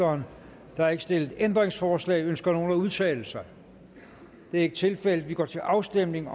der er ikke stillet ændringsforslag ønsker nogen at udtale sig det er ikke tilfældet og vi går til afstemning